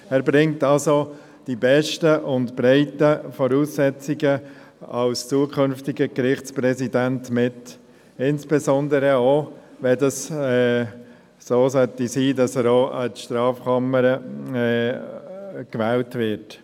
Er bringt also die besten und breiten Voraussetzungen als zukünftiger Gerichtspräsident mit, insbesondere auch, wenn es so sein sollte, dass er auch an die Strafkammer gewählt wird.